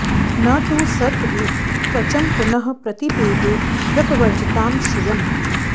न तु सर्प इव त्वचं पुनः प्रतिपेदे व्यपवर्जितां श्रियं